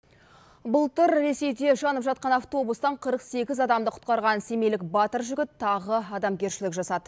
былтыр ресейде жанып жатқан автобустан қырық сегіз адамды құтқарған семейлік батыр жігіт тағы адамгершілік жасады